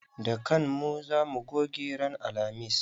Da kan mu za mu goge ranan alhamis.